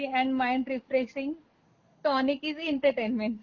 Body and mind refreshing tonic is entertainment.